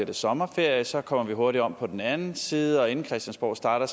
det sommerferie og så kommer vi hurtigt om på den anden side og inden christiansborg starter